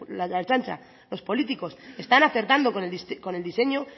la ertzaintza los políticos están acertando con el diseño